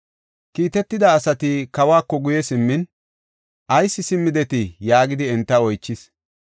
Kiitetida asati kawako guye simmin, “Ayis simmidetii?” yaagidi enta oychis.